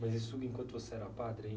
Mas isso enquanto você era padre ainda?